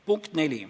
Punkt neli.